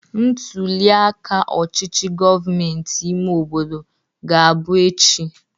Ntuliaka ọchichi gomentịị ime obodo ga-abụ echi.